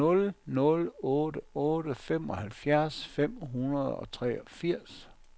nul nul otte otte femoghalvfjerds fem hundrede og treogfirs